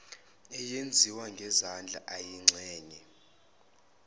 eyenziwa ngezandla eyingxenye